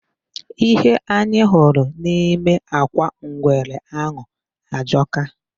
Ihe anyị hụrụ nime akwa ngwere ahụ ajọka.